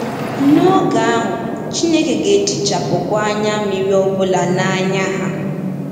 N’oge ahụ, “Chineke ga-ehichapụkwa anya mmiri ọ bụla n’anya ha.”